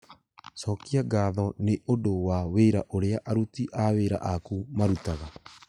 cokia ngatho nĩ ũndũ wa wĩra ũrĩa aruti awĩra aaku marutaga